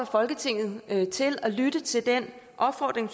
jeg folketinget til at lytte til den opfordring